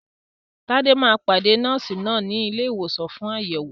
Tade máa pàdé Nọ́ọ̀sì náà ní ilé ìwòsàn fún àyẹ̀wò.